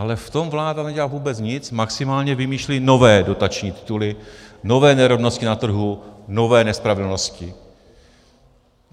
Ale v tom vláda nedělá vůbec nic, maximálně vymýšlí nové dotační tituly, nové nerovnosti na trhu, nové nespravedlnosti.